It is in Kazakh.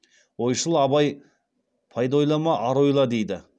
ойшыл абай пайда ойлама ар ойла дейді